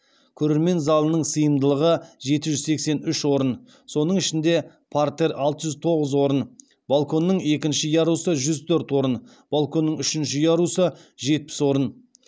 көрермен залының сыйымдылығы жеті жүз сексен үш орын соның ішінде партер алты жүз тоғыз орын балконның екінші ярусы жүз төрт орын балконның үшінші ярусы жетпіс орын